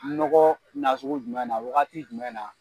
Nɔgɔ nasugu jumɛn na wagati jumɛn na ?